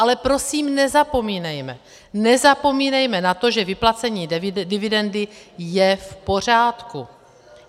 Ale prosím, nezapomínejme, nezapomínejme na to, že vyplacení dividendy je v pořádku.